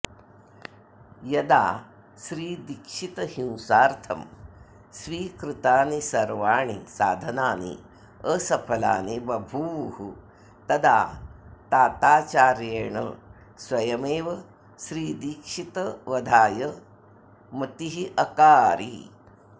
यदा श्रीदीक्षितहिंसार्थं स्वीकृतानि सर्वाणि साधनानि असफलानि बभूवुस्तदा ताताचार्येण स्वयमेव श्रीदीक्षितवधाय मतिरकारि